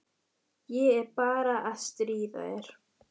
Ég er bara að stríða þér.